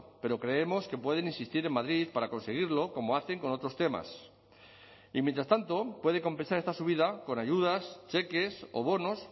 pero creemos que pueden insistir en madrid para conseguirlo como hacen con otros temas y mientras tanto puede compensar esta subida con ayudas cheques o bonos